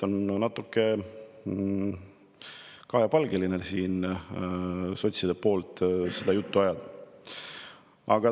On natuke kahepalgeline sotside poolt seda juttu ajada.